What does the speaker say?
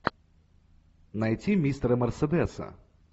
найти мистера мерседеса